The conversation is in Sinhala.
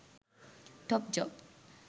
top job